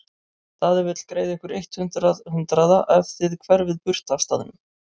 Daði vill greiða ykkur eitt hundrað hundraða ef þið hverfið burt af staðnum.